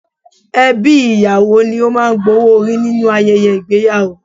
Ẹbí ìyàwó ni ó má́a ń gba owó orí nínú ayẹyẹ ìgbéyàwó